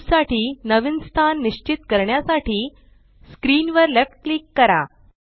cube साठी नवीन स्थान निश्चित करण्यासाठी स्क्रीन वर लेफ्ट क्लिक करा